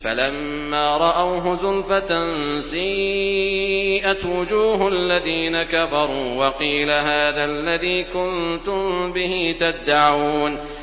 فَلَمَّا رَأَوْهُ زُلْفَةً سِيئَتْ وُجُوهُ الَّذِينَ كَفَرُوا وَقِيلَ هَٰذَا الَّذِي كُنتُم بِهِ تَدَّعُونَ